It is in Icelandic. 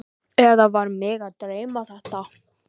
Eða var mig að dreyma þetta?